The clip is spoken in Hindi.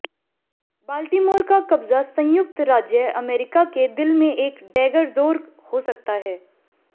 बाल्टीमोर का कब्जा संयुक्त राज्य अमेरिका के दिल में एक डैगर जोर हो सकता है